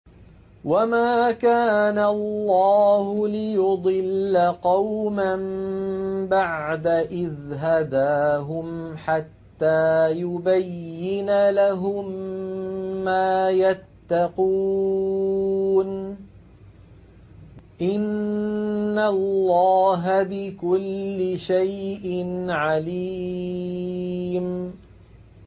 وَمَا كَانَ اللَّهُ لِيُضِلَّ قَوْمًا بَعْدَ إِذْ هَدَاهُمْ حَتَّىٰ يُبَيِّنَ لَهُم مَّا يَتَّقُونَ ۚ إِنَّ اللَّهَ بِكُلِّ شَيْءٍ عَلِيمٌ